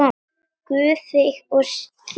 Guð þig og þína blessi.